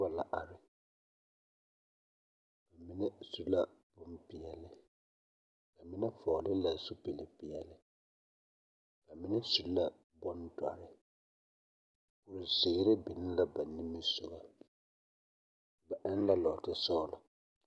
La are, mine su la bompeɛle. Ba mine vɔgle la zupilpeɛle ba mine su la bondɔre, kurizeere biŋ la ba nimisogɔ. Ba eŋ la lɔɔtesɔgele, la are.